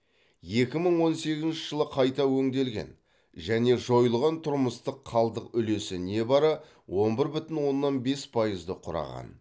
екі мың он сегізінші жылы қайта өңделген және жойылған тұрмыстық қалдық үлесі небәрі он бір бүтін оннан бес пайызды құраған